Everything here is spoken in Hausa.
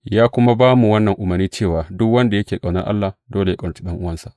Ya kuma ba mu wannan umarni cewa duk wanda yake ƙaunar Allah, dole yă ƙaunaci ɗan’uwansa.